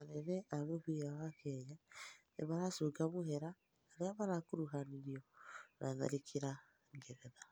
anene a mũbĩra wa Kenya nĩmaracũnga mũhera arĩa marakũrũhanĩrĩo na tharĩkĩra ngeretha